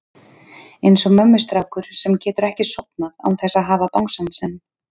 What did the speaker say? Eins og mömmustrákur sem getur ekki sofnað án þess að hafa bangsann sinn.